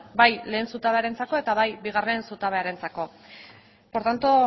bai lehenengo zutabearentzako eta bai bigarren zutabearentzako por tanto